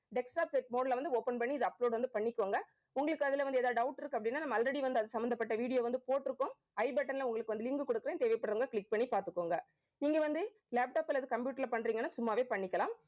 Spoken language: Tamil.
desktop set mode ல வந்து open பண்ணி இதை upload வந்து பண்ணிக்கோங்க. உங்களுக்கு அதுல வந்து ஏதாவது doubt இருக்கு அப்படின்னா நம்ம already வந்து அது சம்பந்தப்பட்ட video வந்து போட்டிருக்கோம். i button ல உங்களுக்கு வந்து link கொடுக்கிறேன். தேவைப்படுறவங்க click பண்ணி பாத்துக்கோங்க. நீங்க வந்து laptop அல்லது computer ல பண்றீங்கன்னா சும்மாவே பண்ணிக்கலாம்